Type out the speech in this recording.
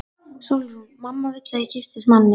SÓLRÚN: Mamma vill að ég giftist manni.